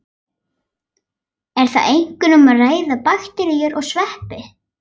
Er þar einkum um að ræða bakteríur og sveppi.